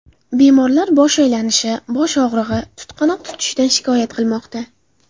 Bemorlar bosh aylanishi, bosh og‘rig‘i, tutqanoq tutishidan shikoyat qilmoqda.